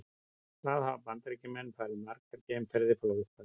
Hvað hafa Bandaríkjamenn farið margar geimferðir frá upphafi?